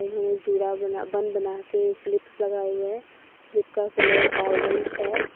उन्होंने जूड़ा बना बन बनाके क्लिप्स लगाए हुए हैं क्लिप का कलर ऑरेंज है।